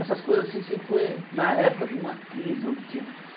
Essas coisas sempre foi na época de uma crise. Onde tinha